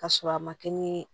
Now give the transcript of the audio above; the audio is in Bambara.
K'a sɔrɔ a ma kɛ ni